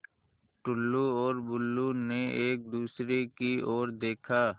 टुल्लु और बुल्लु ने एक दूसरे की ओर देखा